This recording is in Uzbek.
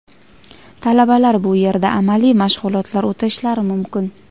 Talabalar bu yerda amaliy mashg‘ulotlar o‘tashlari mumkin.